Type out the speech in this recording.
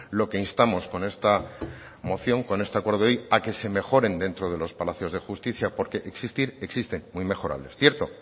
lo que instamos con esta moción con este acuerdo hoy a que se mejoren dentro de los palacios de justicia porque existir existen muy mejorable es cierto